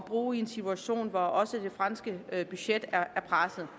bruge i en situation hvor også det franske budget er presset